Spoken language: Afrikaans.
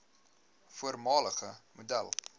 voormalige model